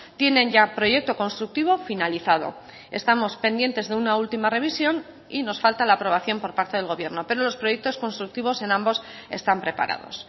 tienen ya proyecto constructivo finalizado estamos pendientes de una última revisión y nos falta la aprobación por parte del gobierno pero los proyectos constructivos en ambos están preparados